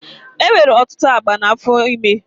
E nwere ọtụtụ agba n'afọ ime.